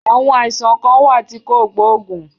Àwọn àìsàn kan wà tí kò gbóògùn.